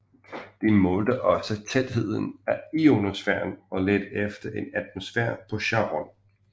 Det målte også tætheden af ionosfæren og ledte efter en atmosfære på Charon